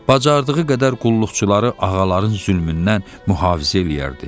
Bacardığı qədər qulluqçuları ağaların zülmündən mühafizə eləyərdi.